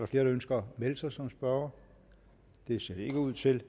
flere der ønsker at melde sig som spørgere det ser det ikke ud til